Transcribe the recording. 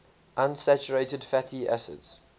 unsaturated fatty acids